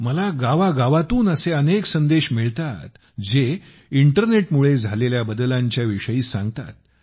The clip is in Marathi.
मला गावोगावातून असे अनेक संदेश मिळतात जे इंटरनेटमुळे झालेल्या बदलांच्या विषयी सांगतात